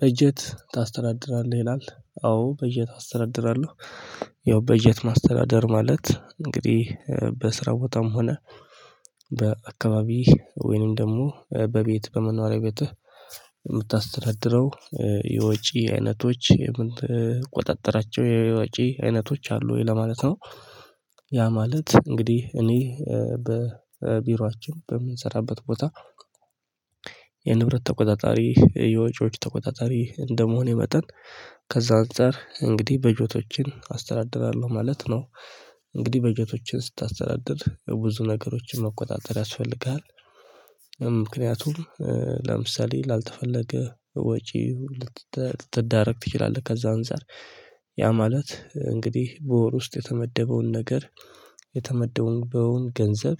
በጀት ታስተዳድራለህ ይላል አዎ በጀት አስተዳድራለሁ ያው በጀት ማስተዳደር ማለት እንግዲህ በስራ ቦታም ሆነ በአካባቢ ወይንም ደግሞ በቤት በመኖሪያ ቤትህ የምታስተዳድረው የወጪ አይነቶች የምትቆጣጠራቸው የወጪ አይነቶች አሉ ወይ ለማለት ነው? ያ ማለት እንግዲህ እኔ በቢሯችን በምንሰራበት ቦታ የንብረት ተቆጣጣሪ የወጪዎች ተቆጣጣሪ እንደመሆኔ መጠን ከዛ አንፃር እንግዲህ በጀቶችን አስተዳድራለሁ ማለት ነው። እንግዲህ በጀቶችን ስታስተዳድር ብዙ ነገሮችን መቆጣጠር ያስፈልግሀል። ምክንያቱም ለምሳሌ ላልተፈለገ ወጪ ልትዳረግ ትችላለህ። ከዛ አንፃር ያ ማለት እንግዲህ በወር ውስጥ የተመደበውን ነገር የተመደበውን ገንዘብ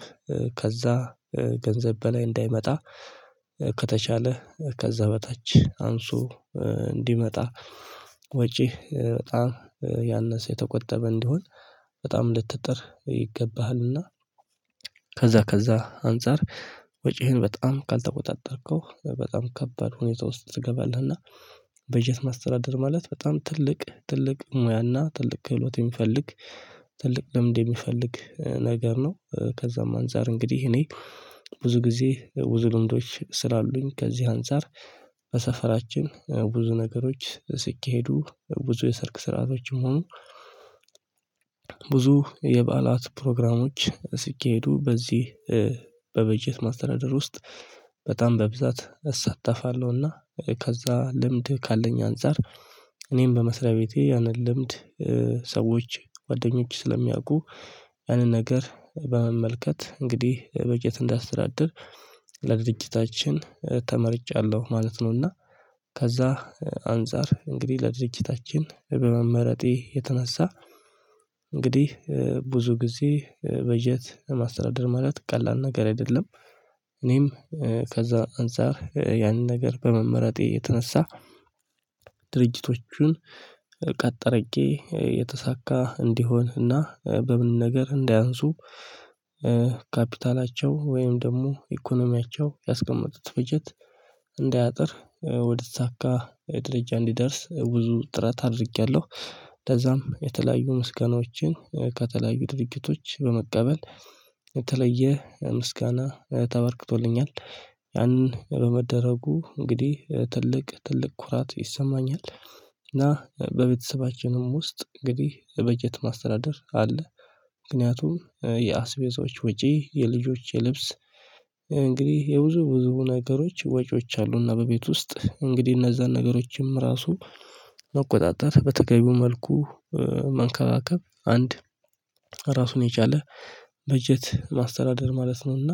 ከዛ ገንዘብ በላይ እንዳይመጣ ከተቻለ ከዛ በታች አንሶ እንዲመጣ ወጪ በጣም ያነሰ የተቆጠበ እንዲሆን በጣም ልትጥር ይገባሃልና። ከዛ ከዛ አንፃር ወጪህን በጣም ካልተቆጣጠርከው በጣም ከባድ ሁኔታ ውስጥ ትገባለህ። እና በጀት ማስተዳደር ማለት በጣም ትልቅ ትልቅ ሙያና ትልቅ ክህሎት የሚፈልግ ትልቅ ልምድ የሚፈልግ ነገር ነው። ከዛም አንፃር እንግዲህ እኔ ብዙ ጊዜ ብዙ ልምዶች ስላሉኝ ከዚህ አንፃር በሰፈራችን ብዙ ነገሮች ሲኬሄዱ ብዙ የሰርግ ስርአቶችም ሆኑ ብዙ የበዓላት ፕሮግራሞች ሲኬሄዱ በዚህ በበጀት ማስተዳደር ውስጥ በጣም በብዛት እሳተፋለሁና። ከዛ ልምድ ካለኝ አንፃር እኔም በመስሪያ ቤቴ ያንን ልምድ ሰዎች ጓደኞች ስለሚያውቁ ያንን ነገር በመመልከት እንግዲህ በጀት እንዳስተዳደር ለድርጅታችን ተመርጫለሁ ማለት ነውና። ከዛ አንፃር እንግዲህ ለድርጅታችን በመመረጤ የተነሳ እንግዲህ ብዙ ጊዜ በጀት ለማስተዳደር ማለት ቀላል ነገር አይደለም። እኔም ከዛ አንፃር ያን ነገር በመመረጤ የተነሳ ድርጅቶቹን ቀጥ አርጌ የተሳካ እንዲሆን እና በምንም ነገር እንዳያንሱ ካፒታላቸው ወይም ደግሞ ኢኮኖሚያቸው ያስቀመጡት በጀት እንዳያጥር ወደ ተሳካ ደረጃ እንዲደርስ ብዙ ጥረት አድርጌያለሁ። ከዛም የተለያዩ ምስጋናዎችን ከተለያዩ ድርጅቶች በመቀበል የተለየ ምስጋና ተበርክቶልኛል። ያንን በመደረጉ እንግዲህ ትልቅ ትልቅ ኩራት ይሰማኛል። እና በቤተሰባችንም ውስጥ እንግዲህ በጀት ማስተዳደር አለ። ምክንያቱም የአስቤዛዎች ውጪ የልጆች የልብስ እንግዲህ የብዙ ብዙ ነገሮች ወጪዎች አሉና በቤት ውስጥ እንግዲህ እነዛን ነገሮችም ራሱ መቆጣጠር በተገቢው መልኩ መንከባከብ አንድ ራሱን የቻለ በጀት ማስተዳደር ማለት ነውና።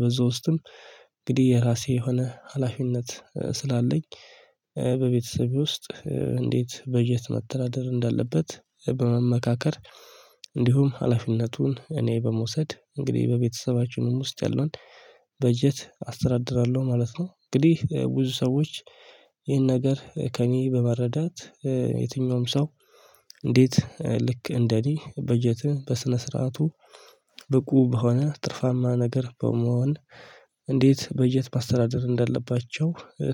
በዛ ውስጥም እንግዲህ የራሴ የሆነ ሀላፊነት ስላለኝ በቤተሰቤ ውስጥ እንዴት በጀት መተናደር እንዳለበት በመመካከር እንዲሁም ሀላፊነቱን እኔ በመውሰድ እንግዲህ በቤተሰባችንም ውስጥ ያለውን በጀት አስተዳድራለሁ ማለት ነው። እንግዲህ ብዙ ሰዎች ይህን ነገር ከእኔ በመረዳት የትኛውም ሰው እንዴት ልክ እንደኔ በጀትን በስነ ስርዓቱ ብቁ በሆነ ትርፋማ ነገር በመሆን እንዴት በጀት ማስተዳደር እንዳለባቸው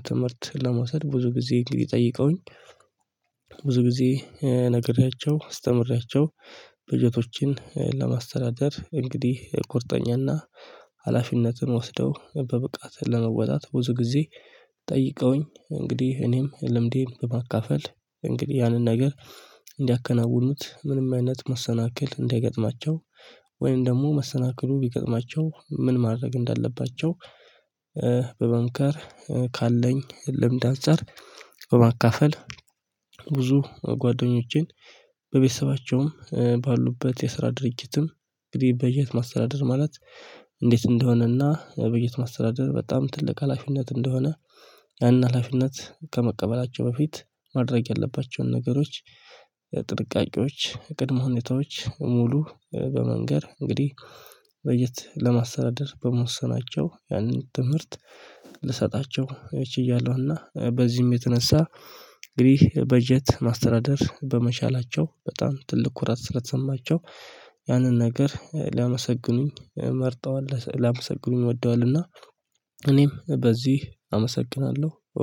ትምህርት ለመውሰድ ብዙ ጊዜ እንግዲህ ጠይቀውኝ። ብዙ ጊዜ ነግሬያቸው አስተምሬያቸው በጀቶችን ለማስተዳደር እንግዲህ ቁርጠኛና ሀላፊነትን ወስደው በብቃት ለመወጣት ብዙ ጊዜ ጠይቀውኝ እንግዲህ እኔም ልምዴን በማካፈል እንግዲህ ያንን ነገር እንዲያከናውኑት ምንም አይነት መሰናክል እንዳይገጥማቸው። ወይም ደግሞ መሰናክሉ ቢገጥማቸው ምን ማድረግ እንዳለባቸው። በመምከር ካለኝ ልምድ አንፃር በማካፈል ብዙ ጓደኞቼን በቤተሰባቸውም ባሉበት የስራ ድርጅትም እንግዲህ በጀት ማስተዳደር ማለት እንዴት እንደሆነና በጀት ማስተዳደር በጣም ትልቅ ሀላፊነት እንደሆነ። ያን ሀላፊነት ከመቀበላቸው በፊት ማድረግ ያለባቸውን ነገሮች ጥንቃቄዎች ቅድመ ሁኔታዎች ሙሉ በመንገር እንግዲህ በጀት ለማስተዳደር በመወሰናቸው ያንን ትምህርት ልሰጣቸው ችያለሁና። በዚህም የተነሳ እንግዲህ በጀት ማስተዳደር በመቻላቸው በጣም ትልቅ ኩራት ስለተሰማቸው ያንን ነገር ሊያመሰግኑኝ መርጠዋል ሊያመሰግኑኝ ወደዋልና። እኔም በዚህ አመሰግናለሁ